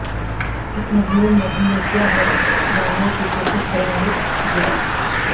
اس مضمون میں ہم نے کیا ہے جاننے کی کوشش کریں گے گولی